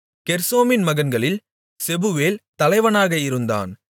கெர்சோமின் மகன்களில் செபுவேல் தலைவனாக இருந்தான்